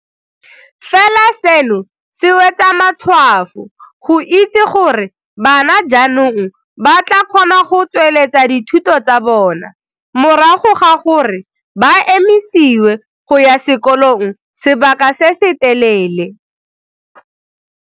Fela seno se wetsa matshwafo go itse gore bana jaanong ba tla kgona go tsweletsa dithuto tsa bona morago ga gore ba emisiwe go ya sekolong sebaka se se telele.